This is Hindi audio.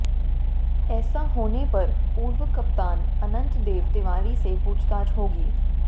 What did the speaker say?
ऐसा होने पर पूर्व कप्तान अनंत देव तिवारी से पूछताछ होगी